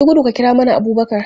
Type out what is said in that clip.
Yi gudu ka kira mana Abubakar!